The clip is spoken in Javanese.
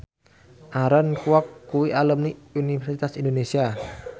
Aaron Kwok kuwi alumni Universitas Indonesia